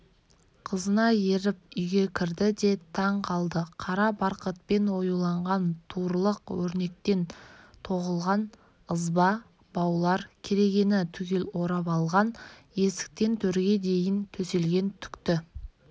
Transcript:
қызына еріп үйге кірді де таң қалды қара барқытпен оюлаған туырлық өрнектеп тоқылған ызба баулар керегені түгел орап алған есіктен төрге дейін төселген түкті